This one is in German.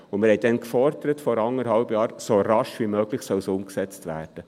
Damals, vor anderthalb Jahren, forderten wir, es solle «so rasch wie möglich» umgesetzt werden.